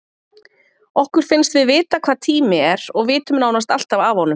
Okkur finnst við vita hvað tími er og vitum nánast alltaf af honum.